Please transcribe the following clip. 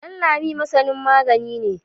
Danlami masani magani ne.